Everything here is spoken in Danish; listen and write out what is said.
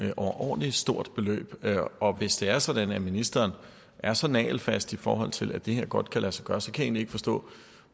et overordentlig stort beløb og hvis det er sådan at ministeren er så nagelfast i forhold til at det her godt kan lade sig gøre så kan ikke forstå